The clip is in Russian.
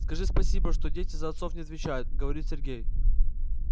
скажи спасибо что дети за отцов не отвечают говорит сергей